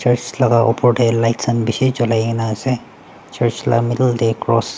laka opor tae lights khan bishi colai kaena ase church la middle tae cross .